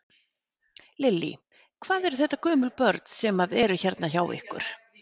Lillý: Hvað eru þetta gömul börn sem að eru hérna hjá ykkur?